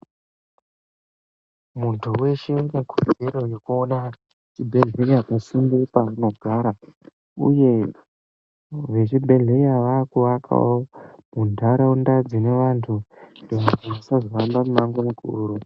Muntu weshe une kodzero yekuona chibhedhleya pasinde pepaanogara, uye vezvibhedhlera vakuvakawo muntaraunda dzine vantu, kuitira kuti vasazohamba mumango mukuru.